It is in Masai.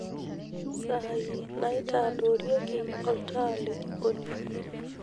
saai naitadorieki olntaa le jikoni